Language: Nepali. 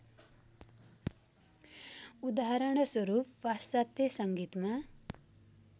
उदाहरणस्वरूप पाश्चात्य संगीतमा